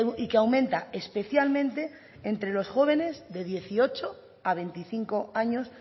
y que aumenta especialmente entre los jóvenes de dieciocho a veinticinco años